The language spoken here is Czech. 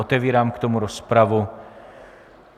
Otevírám k tomu rozpravu.